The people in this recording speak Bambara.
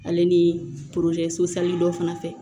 Ale ni so dɔ fana fɛ